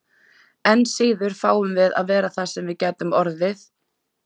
Enn síður fáum við að vera það sem við gætum orðið.